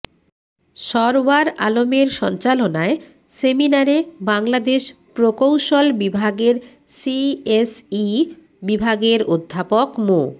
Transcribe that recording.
সরওয়ার আলমের সঞ্চালনায় সেমিনারে বাংলাদেশ প্রকৌশল বিভাগের সিএসই বিভাগের অধ্যাপক মো